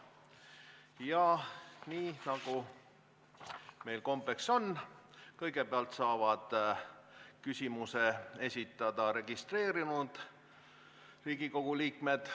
Ja nagu meil kombeks on, kõigepealt saavad küsimuse esitada registreerunud Riigikogu liikmed.